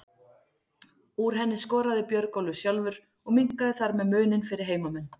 Úr henni skoraði Björgólfur sjálfur og minnkaði þar með muninn fyrir heimamenn.